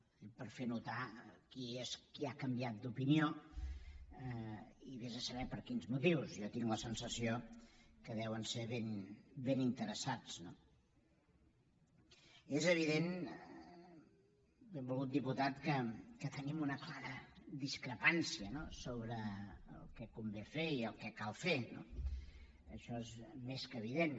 ho dic per fer notar qui ha canviat d’opinió i vés a saber per quins motius jo tinc la sensació que deuen ser ben interessats no és evident benvolgut diputat que tenim una clara discrepància sobre el que convé fer i el que cal fer això és més que evident